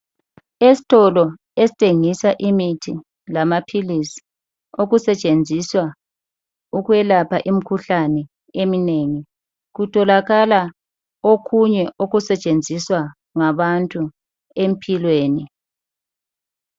Esitolo esithengisa imithi lamaphilisi okusetshenziswa ukwelapha imikhuhlane eminengi, kutholakala okunye okusetshenziswa ngabantu empilweni.